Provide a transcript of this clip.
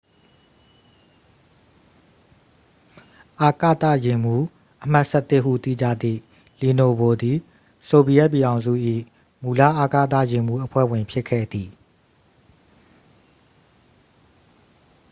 """အာကသယာဉ်မှူး အမှတ် ၁၁" ဟု သိကြသည့် လီနိုဗို သည် ဆိုဗီယက်ပြည်ထောင်စု၏ မူလ အာကသယာဉ်မှူး အဖွဲ့ဝင် ဖြစ်ခဲ့သည်။